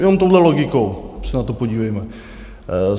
Jenom touhle logikou se na to podívejme.